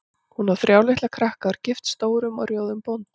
Hún á þrjá litla krakka og er gift stórum og rjóðum bónda.